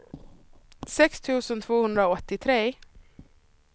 sex tusen tvåhundraåttiotre